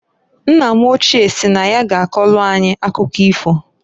Nna m ochie si na ya ga akọlụ anyị akụkọ ifo.